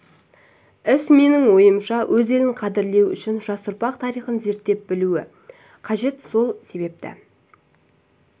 іс менің ойымша өз елін қадірлеу үшін жас ұрпақ тарихын зерттеп білуі қажет сол себепті